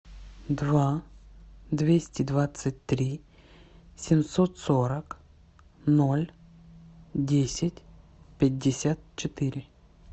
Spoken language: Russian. два двести двадцать три семьсот сорок ноль десять пятьдесят четыре